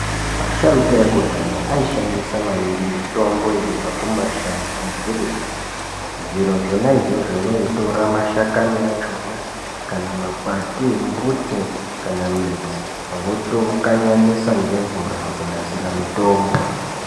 Asharuka ekudhaya aishandisa maningi mitombo yaibva kumashango nezvirimwa. Zviro zvona izvozvo vaitora mashakani achona kana makwati embuti kana midzi. Votokanyanisa ngemvura kunasira mutombo.